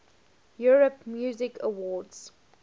europe music awards